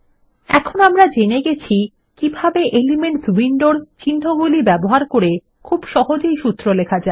এখন আমরা জেনে গেছি কিভাবে এলিমেন্টস উইন্ডোর চিন্হগুলি ব্যবহার করে খুব সহজে একটি সূত্র লেখা যায়